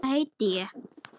Hvað heiti ég?